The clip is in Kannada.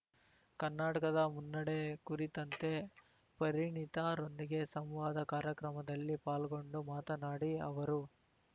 ಕರ್ನಾಟಕದ ಮುನ್ನಡೆ ಕುರಿತಂತೆ ಪರಿಣಿತರೊಂದಿಗೆ ಸಂವಾದ ಕಾರ್ಯಕ್ರಮದಲ್ಲಿ ಪಾಲ್ಗೊಂಡು ಮಾತನಾಡಿ ಅವರು